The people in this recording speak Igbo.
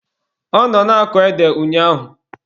Ọ nọ na-akọ ede ụnyaahụ